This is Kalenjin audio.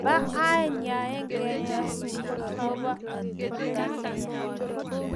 nebo aeng, yaegee nyasut agoba atepto neya